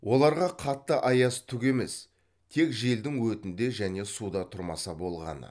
оларға қатты аяз түк емес тек желдің өтінде және суда тұрмаса болғаны